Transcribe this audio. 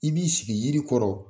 I b'i sigi yiri kɔrɔ